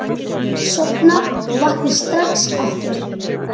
Sofna og vakna strax aftur.